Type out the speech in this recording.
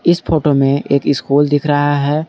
इस फोटो में एक स्कूल दिख रहा है।